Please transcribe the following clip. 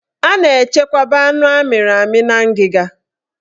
A na-echekwaba anụ amịrị amị na ngiga